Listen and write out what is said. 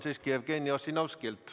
Palun!